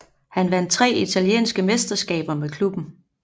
Han vandt tre italienske mesterskaber med klubben